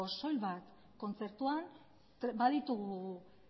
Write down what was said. soil bat kontzertuan baditu